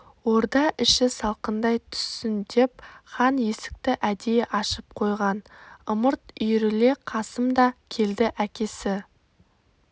орда іші салқындай түссін деп хан есікті әдейі ашып қойған ымырт үйіріле қасым да келді әкесі